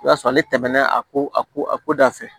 I b'a sɔrɔ ale tɛmɛna a ko a ko a ko da fɛ